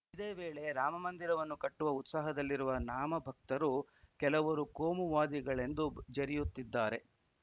ಇದೇ ವೇಳೆ ರಾಮಮಂದಿರವನ್ನು ಕಟ್ಟುವ ಉತ್ಸಾಹದಲ್ಲಿರುವ ನಾಮಭಕ್ತನ್ನು ಕೆಲವರು ಕೋಮುವಾದಿಗಳೆಂದು ಜರಿಯುತ್ತಿದ್ದಾರೆ